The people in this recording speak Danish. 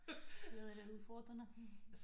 Det lyder lidt udfordrende